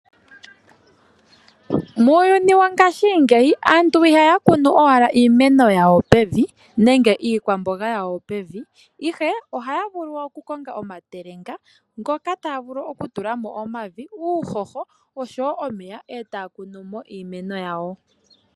Muuyuni wongashingeyi aantu ihaya kunu wala iimeno yawo pevi nenge iikwamboga yawo pevi, ihe ohay vulu oku konga omatelenga, ngoka taya vulu oku tulamo omavi, uuhoho osho wo omeya, etaya kunu mo iimeno yawo.